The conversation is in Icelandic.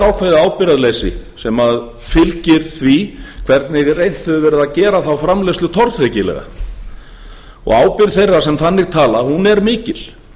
ákveðið ábyrgðarleysi sem fylgir því hvernig reynt hefur verið að gera þá framleiðslu tortryggilega ábyrgð þeirra sem þannig tala er mikil